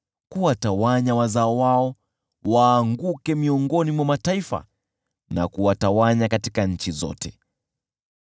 kuwatawanya wazao wao waanguke miongoni mwa mataifa, na kuwatawanya katika nchi zote.